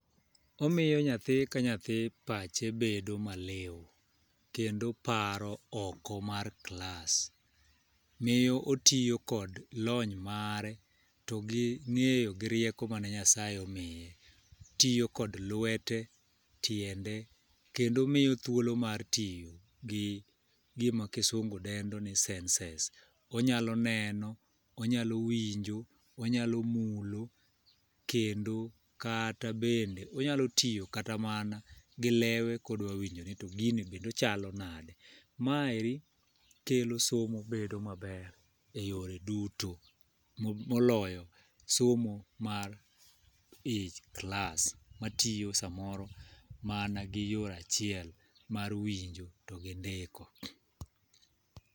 Omiyo nyathi ka nyathi pache bedo ma liw, kendo paro oko mar klas. Miyo otiyo kod lony mare, to gi ng'eyo gi rieko mane Nyasaye omiye. Tiyo kod lwete, tiende, kendo miyo thuolo mar tiyo gi gima kisungu dendo ni senses. Onyalo neno, onyalo winjo, onyalo mulo, kendo kata bende onyalo tiyo kata mana gi lewe kodwa winjo ni to gini bende ochalo nade. Maeri kelo somo bedo maber e yore duto moloyo somo mar ich klas. Ma tiyo samoro mana gi yo achiel, mar winjo to gi ndiko.